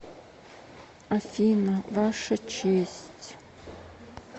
афина ваша честь